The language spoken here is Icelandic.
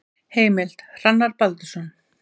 Heimild: Hrannar Baldursson.